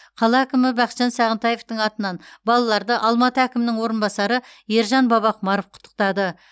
қала әкімі бақытжан сағынтаевтың атынан балаларды алматы әкімінің орынбасары ержан бабақұмаров құттықтады